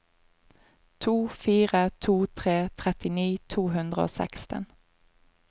to fire to tre trettini to hundre og seksten